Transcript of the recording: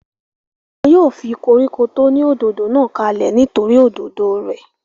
wọn yóò fi koríko tó ní òdòdó náà kalẹ̀ nítorí òdòdó rẹ̀